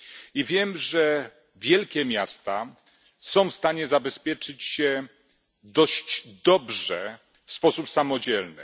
I wiem, że wielkie miasta są w stanie zabezpieczyć się dość dobrze w sposób samodzielny.